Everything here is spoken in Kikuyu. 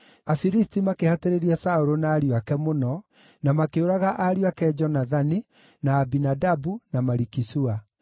Afilisti makĩhatĩrĩria Saũlũ na ariũ ake mũno, na makĩũraga ariũ ake Jonathani, na Abinadabu, na Maliki-Shua.